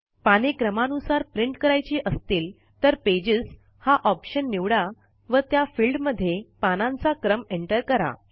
पाने क्रमानुसार प्रिंट करायची असतील तर पेजेस हा ऑप्शन निवडा व त्या फिल्ड मध्ये पानांचा क्रम एंटर करा